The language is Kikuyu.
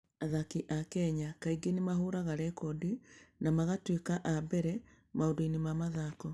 Athaki a Kenya kaingĩ nĩ mahũraga rekondi na magatuĩka a mbere maũndũ-inĩ ma mathaako.